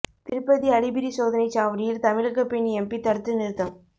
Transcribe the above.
திருப்பதி அலிபிரி சோதனைச் சாவடியில் தமிழக பெண் எம்பி தடுத்து நிறுத்தம்